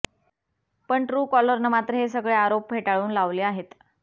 पण ट्रूकॉलरनं मात्र हे सगळे आरोप फेटाळून लावले आहेत